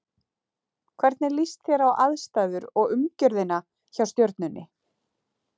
Hvernig líst þér á aðstæður og umgjörðina hjá Stjörnunni?